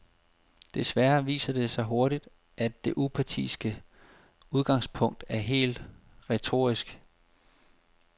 Desværre viser det sig hurtigt, at det upartiske udgangspunkt er helt retorisk.